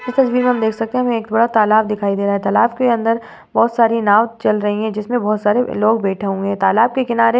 इस तस्वीर में हम देख सकते हैं कि एक बड़ा तालाब दिखाई दे रहा है। तालाब के अंदर बहोत सारे नाव चल रही हैं। जिसमे बहोत सारे लोग बैठे हुए हैं। तालाब के किनारे --